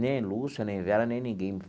Nem Lúcia, nem Vera, nem ninguém.